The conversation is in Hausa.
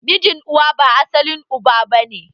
Mijin uwa ba asalin uba bane